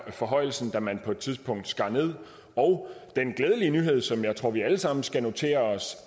forhøjelsen da man på et tidspunkt skar ned og den glædelige nyhed som jeg tror vi alle sammen skal notere os